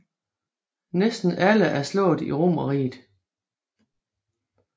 Næsten alle er slået i romerriget